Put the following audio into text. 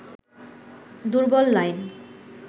দুর্বল লাইন